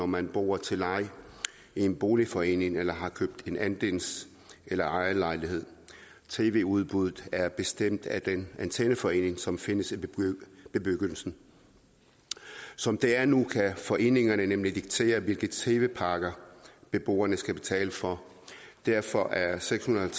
man bor til leje i en boligforening eller har købt en andels eller ejerlejlighed tv udbuddet er bestemt af den antenneforening som findes i bebyggelsen som det er nu kan foreningerne nemlig diktere hvilke tv pakker beboerne skal betale for og derfor er sekshundrede